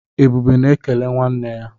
Ebube na-ekele nwanne ya.